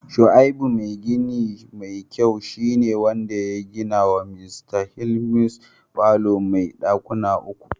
shaibu mai gini ne mai kyau shi ne wanda ya gina wa Mista Timothawus falo mai dakuna uku.